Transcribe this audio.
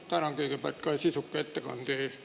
Tänan kõigepealt sisuka ettekande eest.